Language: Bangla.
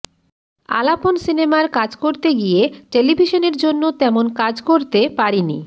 আলাপন সিনেমার কাজ করতে গিয়ে টেলিভিশনের জন্য তেমন কাজ করতে পারিনি